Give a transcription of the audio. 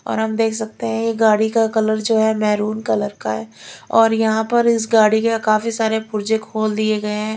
और हम देख सकते हैं ये गाड़ी का कलर जो है मैरून कलर का है और यहां पर इस गाड़ी का काफी सारे पुर्जे खोल दिए गए हैं।